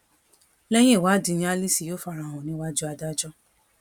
lẹyìn ìwádìí ni alice yóò fara hàn níwájú adájọ